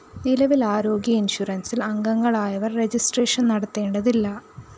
നിലവില്‍ ആരോഗ്യ ഇന്‍ഷ്വറന്‍സില്‍ അംഗങ്ങളായവര്‍ രജിസ്ട്രേഷൻ നടത്തേണ്ടതില്ല